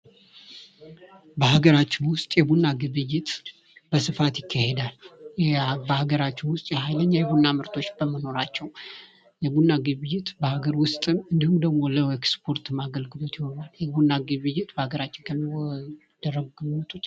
ንግድ የኢኮኖሚ እድገት ዋና አንቀሳቃሽ ሲሆን የስራ ዕድል በመፍጠርና የኑሮ ደረጃን በማሻሻል አስተዋጽኦ ያደርጋል።